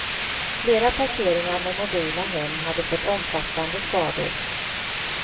Flera parkeringar med mobila hem hade fått omfattande skador.